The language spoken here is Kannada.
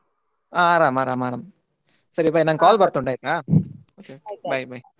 ಹ ಆರಾಮ್ ಆರಾಮ್ ಸರಿ bye ನಂಗೆ call ಬರ್ತುಂಟಾಯ್ತಾ bye bye .